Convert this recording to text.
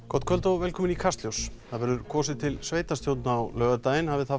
gott kvöld og velkomin í Kastljós það verður kosið til sveitarstjórna á laugardaginn hafi það